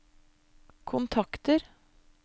kontakter